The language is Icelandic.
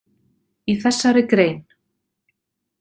Í þessari grein.